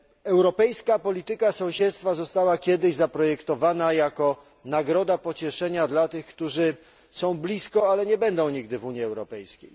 Europejska polityka sąsiedztwa została kiedyś zaprojektowana jako nagroda pocieszenia dla tych, którzy są blisko, ale nie będą nigdy w Unii Europejskiej.